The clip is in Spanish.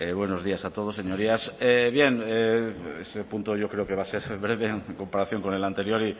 buenos días a todos señorías bien este punto yo creo que va a ser breve en comparación con el anterior